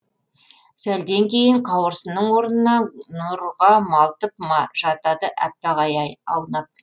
сәлден кейін қауырсынның орнына нұрға малтып жатады әппақ ай аунап